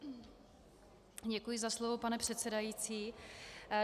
Děkuji za slovo, pane předsedající.